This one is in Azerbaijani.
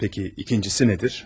Peki ikincisi nədir?